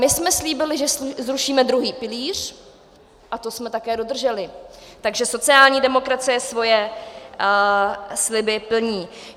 My jsme slíbili, že zrušíme druhý pilíř, a to jsme také dodrželi, takže sociální demokracie svoje sliby plní.